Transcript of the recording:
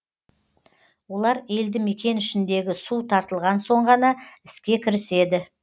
олар елді мекен ішіндегі су тартылған соң ғана іске кіріседі